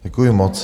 Děkuji moc.